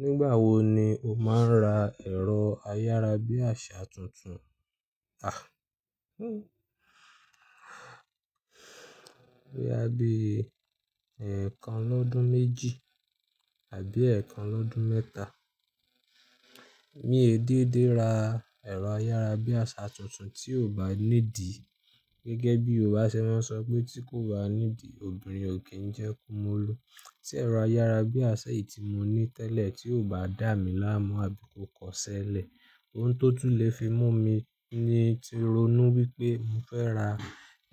Nígbà wo ni o máa ń ra ẹ̀rọ ayárabíàṣá tuntun á? Bí i a bí ẹ̀kan lọ́dún méjì àbí ẹ̀kan lọ́dún mẹ́ta. Mi i dédé ra ẹ̀rọ ayárabíàṣá tuntun tí ò bá ní dì. Gẹ́gẹ́ bí yoruba ṣe máa n sọ pé tí kò bá ní idì, obìnrin ò kí ń jẹ́ kó mọlu. Tí ẹ̀rọ ayárabíàṣá yìí tí mo ní tẹ́lẹ̀ tí ò bá dà mí láàmú àbí kò kọṣẹ́lẹ̀, òun tó tún le fi mú mi ní ti ronú wípé mo fẹ́ ra